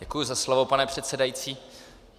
Děkuji za slovo, pane předsedající.